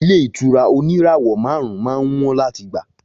Ilé ìtura òní ìràwọ màrún má ń wón làtí gbà.